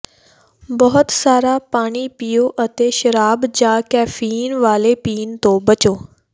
ਬਹੁਤ ਸਾਰਾ ਪਾਣੀ ਪੀਓ ਅਤੇ ਸ਼ਰਾਬ ਜਾਂ ਕੈਫ਼ੀਨ ਵਾਲੇ ਪੀਣ ਤੋਂ ਬਚੋ